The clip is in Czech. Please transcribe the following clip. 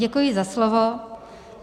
Děkuji za slovo.